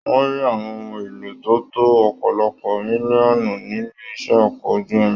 Wọn rí àwọn ohùn èlò tó tó ọpọlọpọ mílíọ̀nù nílé iṣẹ ọkọ̀ ojú omi.